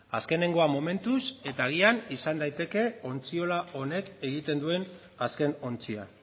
azkenengoa momentuz eta agian izan daiteke ontziola honek egiten duen azken ontzia